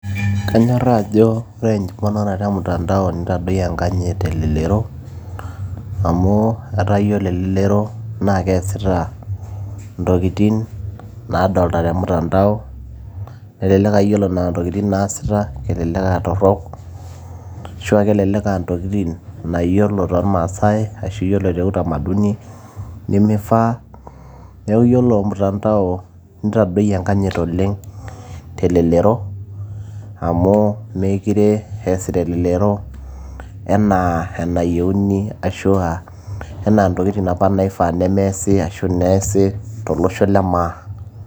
kanyorraa ajo ore emponaroto e mtandao nitadoyie enkanyit telelero amu etaa yiolo elelero naa keesita intokitin naadolta te mtandao nelelek uh, yiolo nena tokitin naasita kelelek aa torrok ashua kelelek aa ntokitin naayiolo tolmaasay ashu yiolo te utamaduni nemifaa neeku yiolo mtandao nitadoyie enkanyit oleng telelero amu mekire eesita elelero enaa enayieuni ashua ena ntokitin apa naifaa nemeesi ashu neesi tolosho lemaa.